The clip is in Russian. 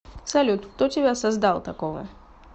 салют кто тебя создал такого